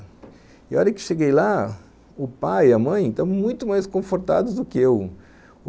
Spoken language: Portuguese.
E a hora que cheguei lá, o pai e a mãe estavam muito mais confortados do que eu.